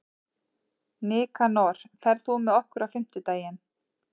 Nikanor, ferð þú með okkur á fimmtudaginn?